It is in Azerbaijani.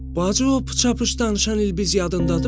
Bacı, o pıça-pıç danışan ilbiz yadındadırım?